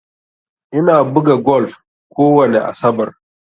Ina buga golf kowani asabar.